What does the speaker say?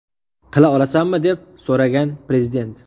Qila olasanmi?” deb so‘ragan Prezident.